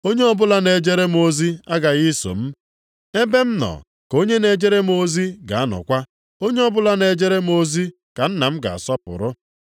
Onye ọbụla na-ejere m ozi aghaghị iso m; ebe m nọ ka onye na-ejere m ozi ga-anọkwa. Onye ọbụla na-ejere m ozi ka Nna m ga-asọpụrụ.